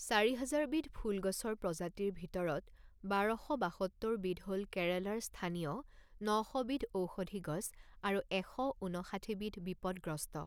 চাৰি হাজাৰ বিধ ফুল গছৰ প্ৰজাতিৰ ভিতৰত বাৰ শ বাসত্তৰ বিধ হ'ল কেৰালাৰ স্থানীয়, ন শ বিধ ঔষধি গছ আৰু এশ ঊনষাঠী বিধ বিপদগ্ৰস্ত।